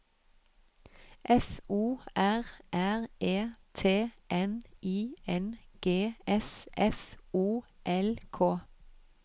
F O R R E T N I N G S F O L K